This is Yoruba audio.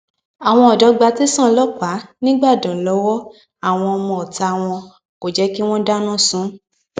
àwọn ọdọ gba tẹsán ọlọpàá nígbàdàn lọwọ àwọn ọmọọta wọn kò jẹ kí wọn dáná sun ún